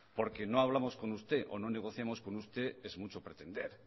porque no hablamos con usted o no negociamos con usted es mucho pretender